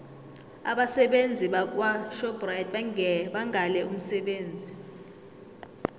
abasebenzi bakwashoprite bangale umsebenzi